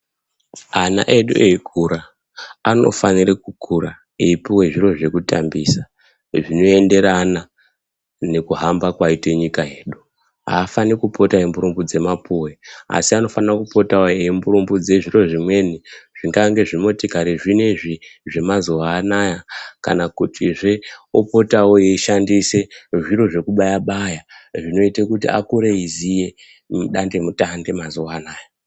Ana edu eikura anofanira kukura eipuwa zviro zvekutambisa zvinoenderana nekuhamba kwaite nyika yedu. Afani kupoto emburumbudza mapuwe asi anofanira kupota eimburumbudza zviro zvimweni zvingange zvimotikari zvinezvi zvemazuwaanaya kana kutizve opotawo eyishandisa zvekubaya baya zvinoita kuti akure eyiziye midande mutande mazuanaya.